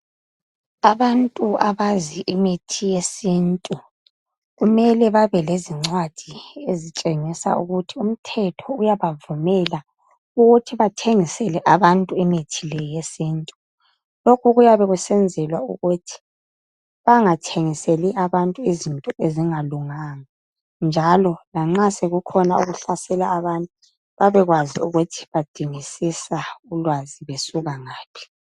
Abantu abazi imithi yesintu kumele babe le zincwadi elitshengisa ukuthi umthetho uyaba vumela ukuthi bathengisele abantu imithi leyesintu lokhu kuyabe kusenzelwa ukuthi banga thengiseli abantu izinto ezingalunganga njalo lanxa sekukhona okuhlasela abantu babekwazi ukuthi badingisisa ulwazi besuka ngaphi .